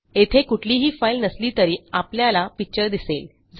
येथे कुठलीही फाईल नसली तरी आपल्याला पिक्चर दिसेल